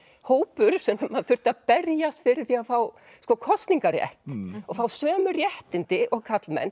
hópur sem þurfti að berjast fyrir því að fá kosningarétt og fá sömu réttindi og karlmenn